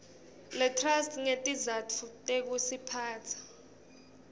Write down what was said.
letrust ngetizatfu tekutiphatsa